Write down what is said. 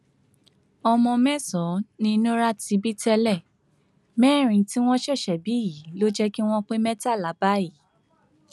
ọmọ mẹsànán ni nura ti bí tẹlẹ mẹrin tí wọn ṣẹṣẹ bí yìí ló jẹ kí wọn pé mẹtàlá báyìí